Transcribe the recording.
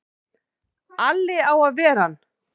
Alli á að ver ann!